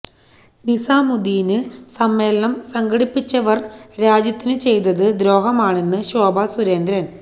നിസാമുദ്ദീന് സമ്മേളനം സംഘടിപ്പിച്ചവര് രാജ്യത്തിനു ചെയ്തത് ദ്രോഹമാണെന്ന് ശോഭ സുരേന്ദ്രൻ